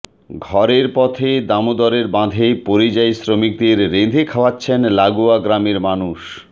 ঘরের পথে দামোদরের বাঁধে পরিযায়ী শ্রমিকদের রেঁধে খাওয়াচ্ছেন লাগোয়া গ্রামের মানুষ